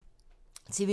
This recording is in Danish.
TV 2